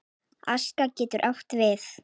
Aska getur átt við